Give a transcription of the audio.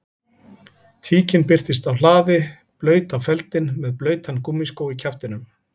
Tíkin birtist á hlaði blaut á feldinn með blautan gúmmískó í kjaftinum